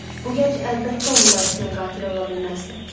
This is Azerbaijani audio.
Bu gənc əlbəttə onun bacısının qatili ola bilməzdi.